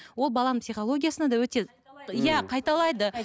ол баланың психологиясына да өте иә қайталайды